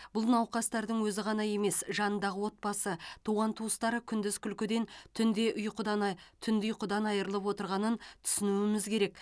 бұл науқастардың өзі ғана емес жанындағы отбасы туған туыстары күндіз күлкіден түнде ұйқыдан ай түнде ұйқыдан айрылып отырғанын түсінуіміз керек